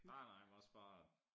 Nej nej men også bare